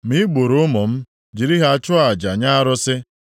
Ma i gburu ụmụ m, jiri ha chụọ aja nye arụsị!